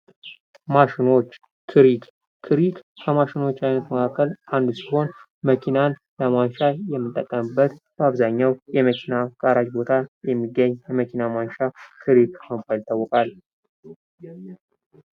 ማሽኖች፦ ክሪክ፦ ክሪክ ከማሽኖች አይነት መካከል አንዱ ሲሆን መኪናን ለማንሻ የምንጠቀምበት በአብዛኛው የመኪና ጋራዥ ቦታ የሚገኝ የመኪና ማንሻ ክሪክ በመባል ይታወቃል።